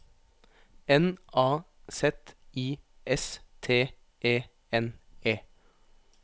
N A Z I S T E N E